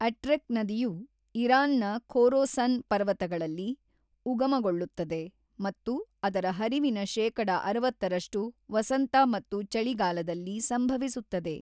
Atrek ನದಿಯು ಇರಾನ್ನ Khorasan ಪರ್ವತಗಳಲ್ಲಿ ಉಗಮಗೊಳ್ಳುತ್ತದೆ ಮತ್ತು ಅದರ ಹರಿವಿನ ಶೇಕಡ ಅರವತ್ತರಷ್ಟು ವಸಂತ ಮತ್ತು ಚಳಿಗಾಲದಲ್ಲಿ ಸಂಭವಿಸುತ್ತದೆ.